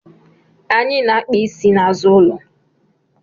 Anyị na akpa isi na azụ ụlọ